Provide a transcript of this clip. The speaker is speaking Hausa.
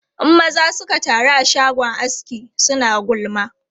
In maza suka taru a shagon aski, suna gulma.